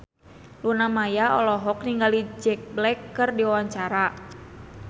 Luna Maya olohok ningali Jack Black keur diwawancara